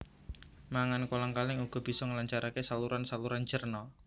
Mangan kolang kaling uga bisa nglancaraké saluranSaluran cerna